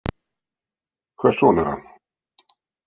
Hvers son er hann?